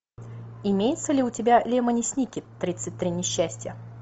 имеется ли у тебя лемони сникет тридцать три несчастья